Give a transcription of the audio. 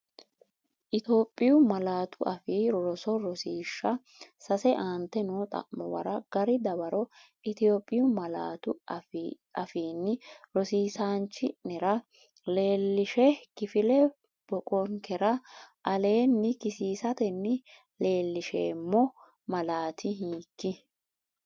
Itophiyu Malaatu Afii Roso Rosiishsha Sase Aante noo xa’muwara gari dawaro Itophiyu malaatu afiinni rosi isaanchi’nera leellishshe, kifile boqonkera aleenni kisiisatenni leellinsheemmo malaati hiik?